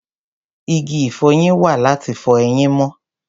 Igi ìfọyín wà láti fọ eyín mọ́.